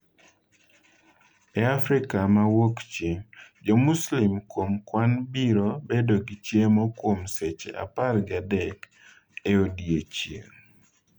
E Afrika ma Wuokchieng', Jo-Muslim kuom kwan biro bedo gi chiemo kuom seche apargi adek e odiechieng'.